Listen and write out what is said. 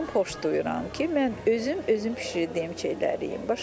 Mən özüm xoş duyuram ki, mən özüm özüm bişirdiyim şeyləri yeyim.